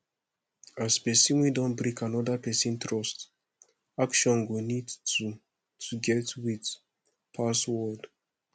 as person wey don break anoda person trust action go need to to get weight pass word